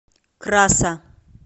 краса